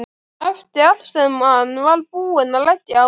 Eftir allt sem hann var búinn að leggja á sig!